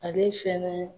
Ale fɛnɛ